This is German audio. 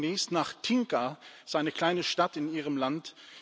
Ich fahre demnächst nach Tinca, das ist eine kleine Stadt in Ihrem Land.